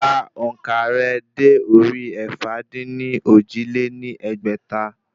Ka òǹkà rẹ dé orí ẹ̀fà-dín-ní-ojì lé ní ẹgbẹ́ta